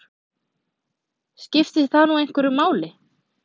Skiptir það nú einhverju máli?